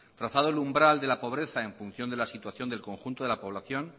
trazado el umbral de la pobreza en función de la situación del conjunto de la población